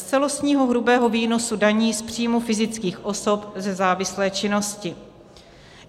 - z celostního hrubého výnosu daní z příjmu fyzických osob ze závislé činnosti.